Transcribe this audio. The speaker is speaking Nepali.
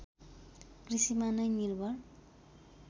कृषिमा नै निर्भर